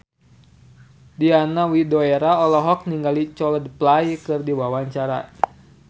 Diana Widoera olohok ningali Coldplay keur diwawancara